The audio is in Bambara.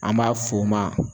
An b'a f'o ma